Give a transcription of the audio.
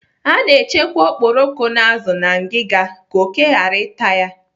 A na-echekwa okporoko na azụ na ngiga ka oké ghara ịta ya